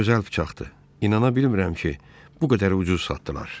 Çox gözəl bıçaqdır, inana bilmirəm ki, bu qədər ucuz satdılar.